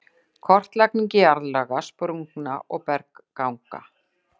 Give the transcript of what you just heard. Kortlagning jarðlaga, sprungna og bergganga